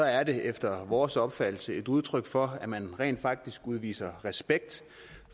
er det efter vores opfattelse et udtryk for at man rent faktisk udviser respekt